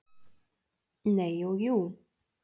Nei og jú.